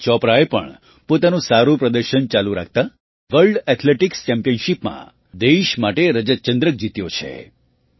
નીરજ ચોપરાએ પણ પોતાનું સારું પ્રદર્શન ચાલુ રાખતાં વર્લ્ડ ઍથ્લેટિક્સ ચેમ્પિયનશિપમાં દેશ માટે રજત ચંદ્રક જીત્યો છે